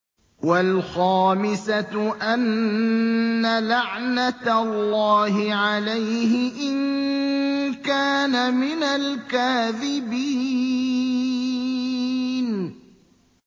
وَالْخَامِسَةُ أَنَّ لَعْنَتَ اللَّهِ عَلَيْهِ إِن كَانَ مِنَ الْكَاذِبِينَ